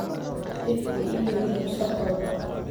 xifdi iimaylka mustaqbalka